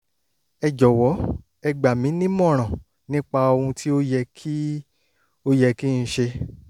ẹ jọ̀wọ́ ẹ gbà mí nímọ̀ràn nípa ohun tí ó yẹ kí ó yẹ kí n ṣe